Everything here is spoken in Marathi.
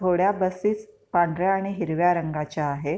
थोड्या बसेस पांढऱ्या आणि हिरव्या रंगाच्या आहे.